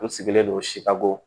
N sigilen don sikago